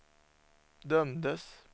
dömdes